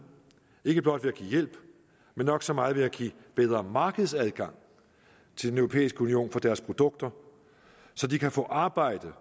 ikke blot ved at give hjælp men nok så meget ved at give bedre markedsadgang til den europæiske union for deres produkter så de kan få arbejde